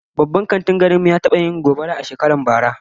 Babban kantin garin mu ya taba yin gobara shekarar bara